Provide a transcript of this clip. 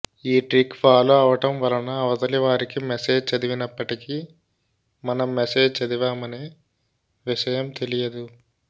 ఈ trick follow అవటం వలన అవతలివారికి మెసేజ్ చదివినప్పటికీ మనం మెసేజ్ చదివామనే విషయం తెలియదు